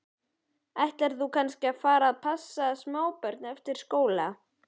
Ætlar þú kannski að fara að passa smábörn eftir skóla?